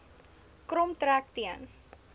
krom trek teen